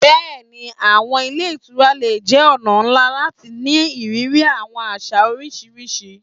Yes, hotels can be a great way to experience different cultures.